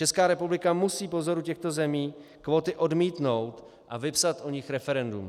Česká republika musí po vzoru těchto zemí kvóty odmítnout a vypsat o nich referendum.